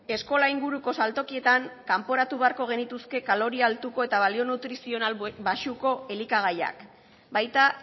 eskola inguruko saltokietan kanporatu beharko genituzke kaloria altuko eta balio nutrizional baxuko elikagaiak baita